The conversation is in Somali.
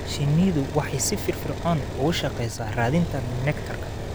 Shinnidu waxay si firfircoon ugu shaqeysaa raadinta nectar.